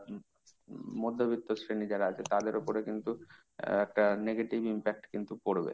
মধ্যবিত্ত শ্রেণি যারা আছে তাদের ওপরে কিন্তু একটা negative impact কিন্তু পড়বে।